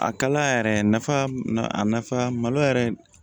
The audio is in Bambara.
A kalaya yɛrɛ nafa a nafa malo yɛrɛ